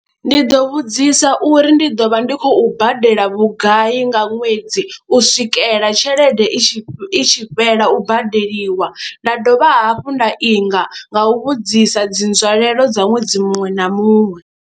Ndi ḓo vhudzisa uri ndi ḓo vha ndi khou badela vhugai nga ṅwedzi u swikela tshelede i tshi i tshi fhela u badeliwa, nda dovha hafhu nda inga nga u vhudzisa dzi nzwalelo dza ṅwedzi muṅwe na muṅwe.